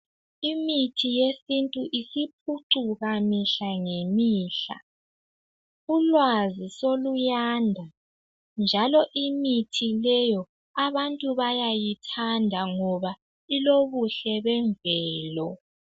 Imithi yesintu isiphucuka mihla ngemihla. Ulwazi soluyanda, njalo imithi leyo abantu bayayithanda ngoba ilobuhle bemvelo.